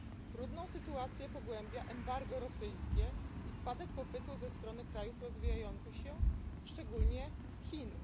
Trudną sytuację pogłębia embargo rosyjskie i spadek popytu ze strony krajów rozwijających się, szczególnie Chin.